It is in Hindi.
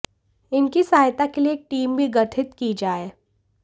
इनकी सहायता के लिये एक टीम भी गठित की जाये